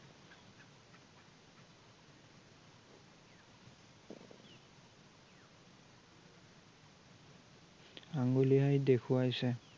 আঙুলিয়াই দেখুয়াইছে ।